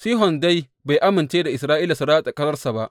Sihon dai, bai amince da Isra’ila su ratsa ƙasarsa ba.